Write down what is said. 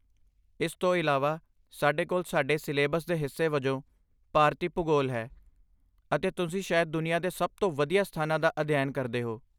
ਇਸ ਤੋਂ ਇਲਾਵਾ, ਸਾਡੇ ਕੋਲ ਸਾਡੇ ਸਿਲੇਬਸ ਦੇ ਹਿੱਸੇ ਵਜੋਂ ਭਾਰਤੀ ਭੂਗੋਲ ਹੈ, ਅਤੇ ਤੁਸੀਂ ਸ਼ਾਇਦ ਦੁਨੀਆ ਦੇ ਸਭ ਤੋਂ ਵਧੀਆ ਸਥਾਨਾਂ ਦਾ ਅਧਿਐਨ ਕਰਦੇ ਹੋ!